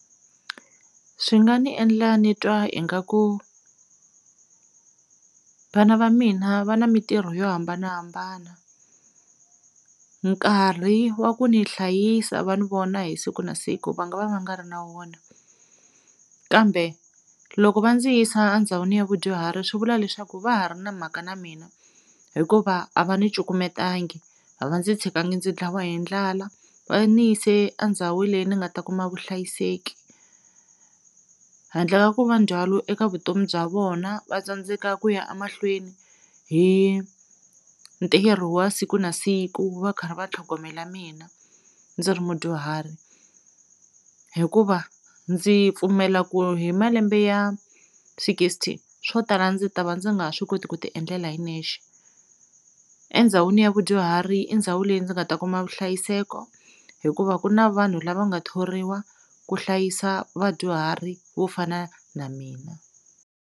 Swi nga ni endla ni twa ingaku vana va mina va na mintirho yo hambanahambana nkarhi wa ku ni hlayisa va ni vona hi siku na siku va nga va va nga ri na wona kambe loko va ndzi yisa endhawini ya vadyuhari swi vula leswaku va ha ri na mhaka na mina hikuva a va ni cukumetangi, a va ndzi tshikangi ndzi dlayiwa hi ndlala va ni yise a ndhawu leyi ni nga ta kuma vuhlayiseki handle ka ku va ndzwalo eka vutomi bya vona va tsandzeka ku ya emahlweni hi ntikero wa siku na siku va karhi va tlhogomela mina ndzi ri mudyuhari hikuva ndzi pfumela ku hi malembe ya sixty swo tala ndzi ta va ndzi nga swi koti ku ti endlela hi nexe, endzhawini ya vadyuhari i ndhawu leyi ndzi nga ta kuma vuhlayiseko hikuva ku na vanhu lava nga thoriwa ku hlayisa vadyuhari vo fana na mina.